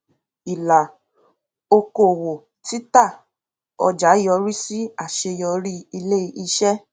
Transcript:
ìlà okòwò títà ọjà yọrí sí àṣeyọrí iléiṣẹ